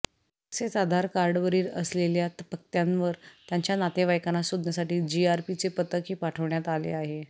तसेच आधार कार्डवरील असलेल्या पत्त्यावर त्यांच्या नातेवाईकांना शोधण्यासाठी जीआरपीचे पथकही पाठवण्यात आले आहे